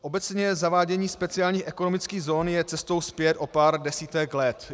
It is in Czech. Obecně zavádění speciálních ekonomických zón je cestou zpět o pár desítek let.